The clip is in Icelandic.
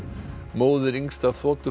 móðir yngsta